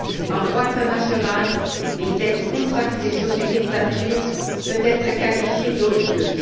En droit international, une dette contractée sous une dictature peut être qualifiée d'odieuse.